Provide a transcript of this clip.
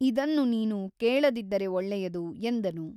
ಇದನ್ನು ನೀನು ಕೇಳದಿದ್ದರೆ ಒಳ್ಳೆಯದು ಎಂದನು.